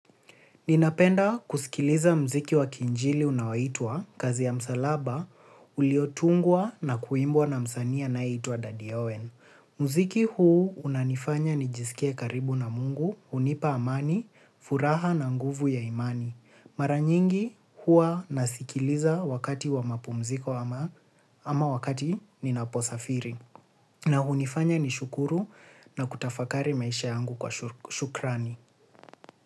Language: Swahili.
Ninapenda kusikiliza mziki wa kiinjili unaoitwa, kazi ya msalaba, uliotungwa na kuimbwa na msanii anayeitwa Dadi Owen. Mziki huu unanifanya nijiskie karibu na Mungu hunipa amani furaha na nguvu ya imani. Mara nyingi huwa nasikiliza wakati wa mapumziko ama wakati ninaposafiri. Na hunifanya nishukuru na kutafakari maisha yangu kwa shukrani.